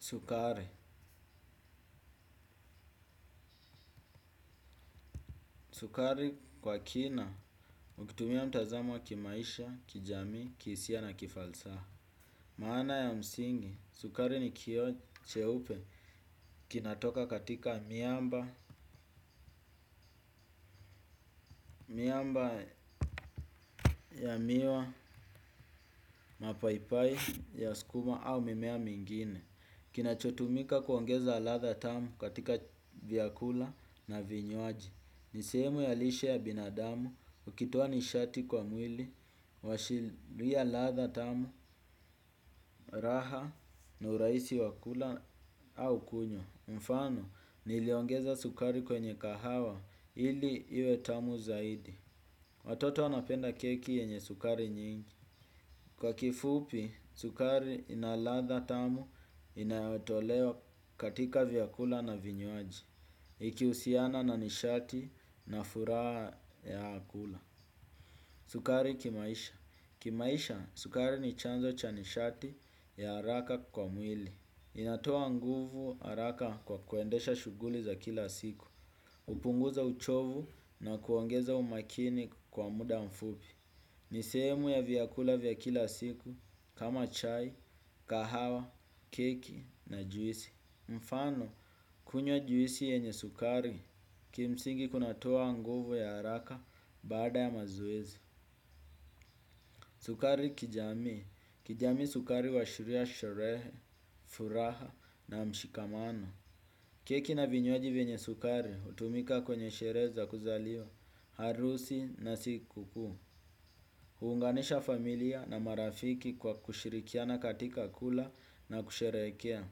Sukari. Sukari kwa kina, ukitumia mtazamo wa kimaisha, kijami, kihisia na kifalsaha. Maana ya msingi, sukari ni kioo cheupe kinatoka katika miamba, miamba ya miwa, mapaipai, ya skuma au mimea mingine. Kinachotumika kuongeza latha tamu katika vyakula na vinywaji. Ni sehemu ya lishe ya binadamu, ukitoa nishati kwa mwili, uashiliya latha tamu, raha, na urahisi wa kula au kunyo. Mfano, niliongeza sukari kwenye kahawa, ili iwe tamu zaidi. Watoto wanapenda keki yenye sukari nyingi. Kwa kifupi, sukari ina latha tamu inayotolewa katika vyakula na vinywaji. Ikiusiana na nishati na furaha ya kula sukari kimaisha kimaisha, sukari ni chanzo cha nishati ya araka kwa mwili. Inatoa nguvu araka kwa kuendesha shughuli za kila siku. Upunguza uchovu na kuongeza umakini kwa muda mfupi. Ni sehemu ya vyakula vya kila siku kama chai, kahawa, keki na juisi. Mfano, kunywa juisi yenye sukari, kimsingi kunatoa nguvu ya haraka baada ya mazoezi. Sukari kijami, kijami sukari uashuria sherehe, furaha na mshikamano. Keki na vinywaji vyenye sukari, utumika kwenye sherehe za kuzaliwa, harusi na sikukuu. Huunganisha familia na marafiki kwa kushirikiana katika kula na kusherehekea.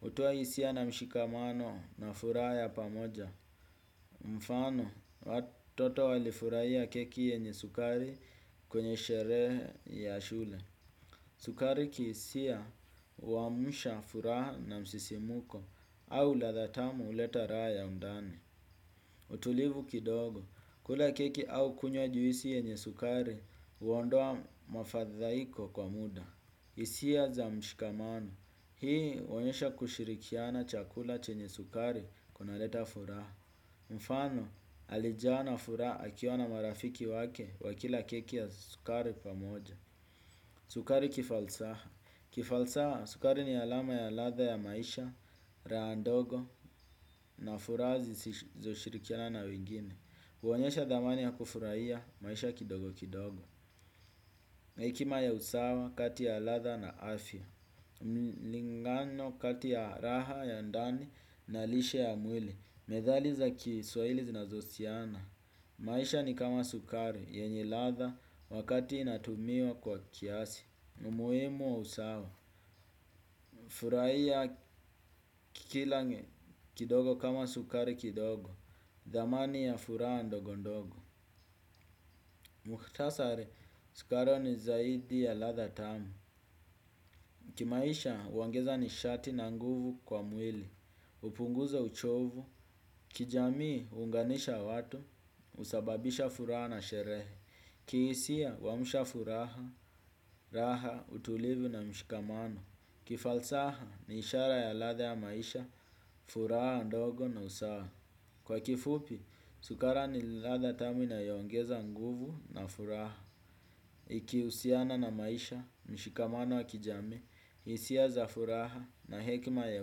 Hutoa hisia na mshikamano na furaha ya pamoja. Mfano, watoto walifurahia keki yenye sukari kwenye sherehe ya shule. Sukari kihisia, huamusha furaha na msisimuko au latha tamu uleta raha ya undani. Utulivu kidogo, kula keki au kunywa juisi yenye sukari, uondoa mafadhaiko kwa muda. Hisia za mshikamano. Hii uonyesha kushirikiana chakula chenye sukari kunaleta furaha. Mfano, alijawa na furaha akiwa na marafiki wake wakila keki ya sukari pamoja. Sukari kifalsaha. Kifalsaha, sukari ni alama ya latha ya maisha, raha ndogo na furaha zisizoshirikiana na wengine. Uonyesha dhamani ya kufurahia maisha kidogo kidogo. Na hekima ya usawa kati ya latha na afya mlingano kati ya raha ya ndani na lishe ya mwili methali za kiswaili zinazosiana. Maisha ni kama sukari yenye latha wakati inatumiwa kwa kiasi. Umuhimu wa usawa furahia kila kidogo kama sukari kidogo. Dhamani ya furaha ndogo ndogo mukhtasari, sukari ni zaidi ya latha tamu. Kimaisha, uongeza nishati na nguvu kwa mwili. Upunguza uchovu. Kijamii, uunganisha watu. Usababisha furaha na sherehe. Kihisia, uamusha furaha. Raha, utulivu na mshikamano. Kifalsaha, ni ishara ya latha ya maisha. Furaha, ndogo na usawa. Kwa kifupi, sukara ni ladha tamu inayoongeza nguvu na furaha. Ikihusiana na maisha, mshikamano wa kijami, isia za furaha na hekima ya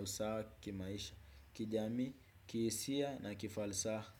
usawa kimaisha kijami, kihisia na kifalsaha.